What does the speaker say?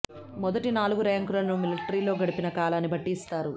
మొదటి నాలుగు ర్యాంకులను మిలటరీలో గడిపిన కాలాన్ని బట్టి ఇస్తారు